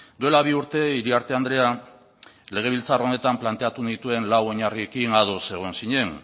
duela bi urte iriarte andrea legebiltzar honetan planteatu nituen lau oinarriekin ados egon zinen